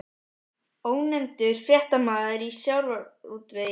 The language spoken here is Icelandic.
Ónefndur fréttamaður: Í sjávarútvegi?